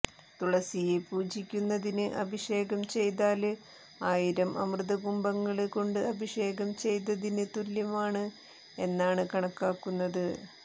തുളസിയെ പൂജിക്കുന്നതിന് അഭിഷേകം ചെയ്താല് ആയിരം അമൃതകുംഭങ്ങള് കൊണ്ട് അഭിഷേകം ചെയ്തതിന് തുല്യമാണ് എന്നാണ് കണക്കാക്കുന്നത്